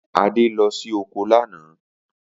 Adé lo̩ sí oko lánàá